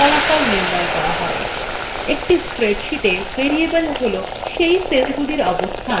একটি spreadsheeta variable cell cell সেলগুলির অবস্থান যেখানে সমীকরণ সম্পূর্ণ করার জন্য প্রয়োজনীয় তথ্য থাকে